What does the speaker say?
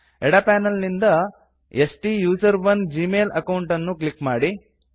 ಎಡ ಪ್ಯಾನಲ್ ನಿಂದ ಸ್ಟುಸೆರೋನ್ ಜಿಮೇಲ್ ಅಕೌಂಟ್ ಅನ್ನು ಕ್ಲಿಕ್ ಮಾಡಿ